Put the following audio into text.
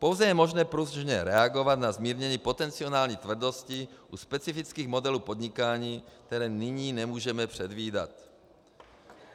Pouze je možné pružně reagovat na zmírnění potenciální tvrdosti u specifických modelů podnikání, které nyní nemůžeme předvídat.